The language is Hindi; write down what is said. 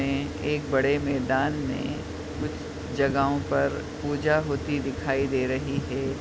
में एक बड़े मेदान में कुछ जगाहों पर पूजा होती दिखाई दे रही है।